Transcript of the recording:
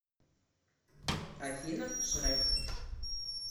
афина шрэк